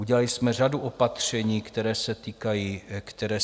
Udělali jsme řadu opatření, která se týkají cen energií.